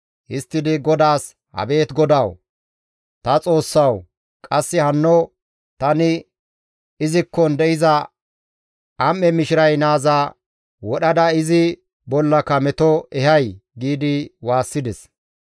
Histtidi GODAAS, «Abeet GODAWU, ta Xoossawu, qasse hanno tani izikkon de7iza am7e mishiray naaza wodhada izi bollaka meto ehay?» giidi waassides.